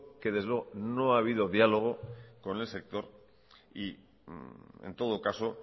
que desde luego no ha habido diálogo con el sector y en todo caso